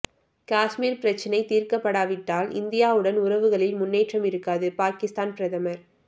காஷ்மீர் பிரச்சினை தீர்க்கப்படாவிட்டால் இந்தியாவுடன் உறவுகளில் முன்னேற்றம் இருக்காது பாகிஸ்தான் பிரதமர்